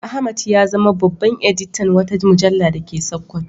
Ahmad ya zama babban editan wata mujalla da ke Sakkwato.